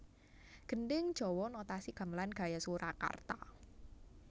Gendhing Jawa Notasi Gamelan gaya Surakarta